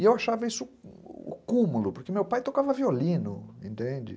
E eu achava isso o cúmulo, porque meu pai tocava violino, entende?